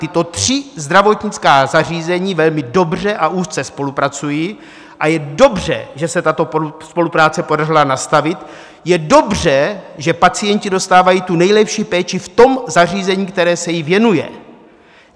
Tato tři zdravotnická zařízení velmi dobře a úzce spolupracují a je dobře, že se tuto spolupráci podařilo nastavit, je dobře, že pacienti dostávají tu nejlepší péči v tom zařízení, které se jim věnuje.